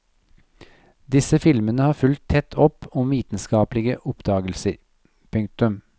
Disse filmene har fulgt tett opp om vitenskapelige oppdagelser. punktum